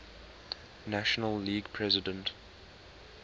national league president